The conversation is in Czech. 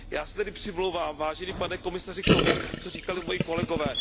Já se tedy přimlouvám, vážený pane komisaři, k tomu, co říkali moji kolegové.